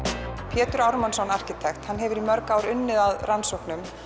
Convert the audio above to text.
Pétur Ármannsson arkitekt hefur í mörg ár unnið að rannsóknum